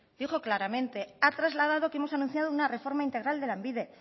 dijo claramente ha trasladado que hemos anunciado una reforma integral de lanbide